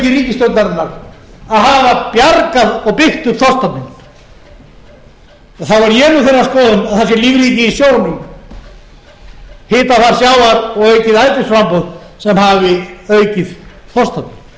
til þó hæstvirtur iðnaðarráðherra hafi lýst því hér áðan því ofboðslega afreki ríkisstjórnarinnar að hafa bjargað og byggt upp þorskstofninn þá er ég þeirrar skoðunar að það sé lífríkið í sjónum hitafar sjávar og aukið ætisframboð sem hafi aukið þorskstofninn en ekki hæstvirt